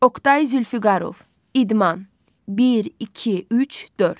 Oqtay Zülfüqarov, idman, bir, iki, üç, dörd.